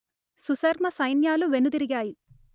సుశర్మ సైన్యాలు వెనుదిరిగాయి